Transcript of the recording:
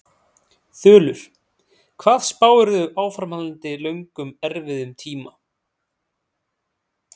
Þulur: Hvað spáirðu áframhaldandi löngum erfiðum tíma?